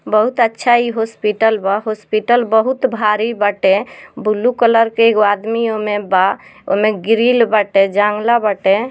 बहुत अच्छा इ हॉस्पिटल बा हॉस्पिटल बहुत भारी बाटे ब्लू कलर के एगो आदमी ओय मे बा ओय में ग्रिल बाटे बाटे।